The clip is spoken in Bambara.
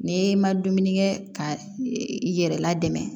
N'i ma dumuni kɛ ka i yɛrɛ ladon